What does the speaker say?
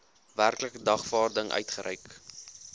werklike dagvaarding uitgereik